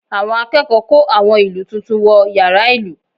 Àwọn akẹ́kọ̀ọ́ kó àwọn ìlù tuntun wọ yàrá ìlù